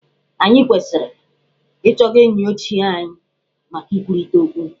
Anyị kwesiri ị chọga enyi ochie anyị maka ikwurịta ọkwu.